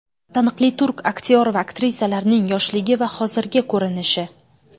Taniqli turk aktyor va aktrisalarining yoshligi va hozirgi ko‘rinishi .